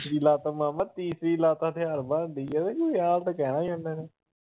ਤੀਸਰੀ ਲੱਤ ਮਾਮਾ ਹੱਥਿਆਰ ਬਣ ਰਹੀ ਆ ਵਿਆਹ ਦਾ ਕਹਿਣਾ ਆ ਉਹਨਾਂ ਨੇ।